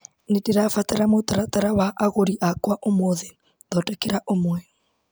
Nĩndĩrabatara mũtaratara wa agũri akwa ũmũthĩ ,thondekera ũmwe.